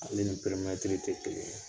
Ale ni pɛimɛtiri tɛ kelen ye.